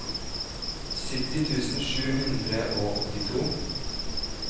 sytti tusen sju hundre og åttito